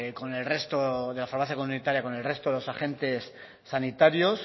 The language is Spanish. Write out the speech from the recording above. de la farmacia comunitaria con el resto de los agentes sanitarios